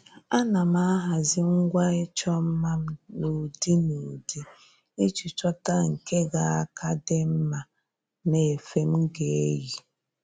À nà m ahazị ngwa ịchọ mma m n’ụ́dị́ n'ụdị iji chọ́ta nke ga aka dị mma n'efe m ga-eyi